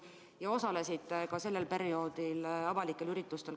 Te osalesite ka sellel perioodil avalikel üritustel.